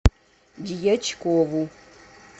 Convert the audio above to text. дьячкову